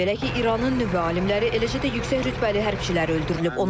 Belə ki, İranın nüvə alimləri, eləcə də yüksək rütbəli hərbçilər öldürülüb.